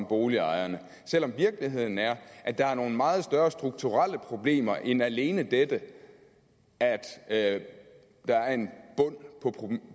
boligejerne selv om virkeligheden er at der er nogle meget større strukturelle problemer end alene dette at der er en bund